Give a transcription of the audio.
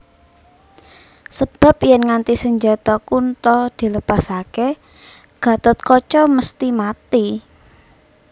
Sebab yèn nganti senjata Kunta dilepasaké Gathotkaca mesthi mati